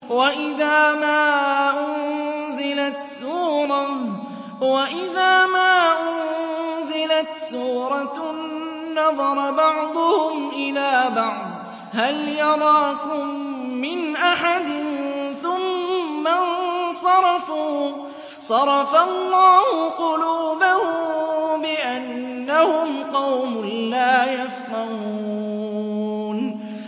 وَإِذَا مَا أُنزِلَتْ سُورَةٌ نَّظَرَ بَعْضُهُمْ إِلَىٰ بَعْضٍ هَلْ يَرَاكُم مِّنْ أَحَدٍ ثُمَّ انصَرَفُوا ۚ صَرَفَ اللَّهُ قُلُوبَهُم بِأَنَّهُمْ قَوْمٌ لَّا يَفْقَهُونَ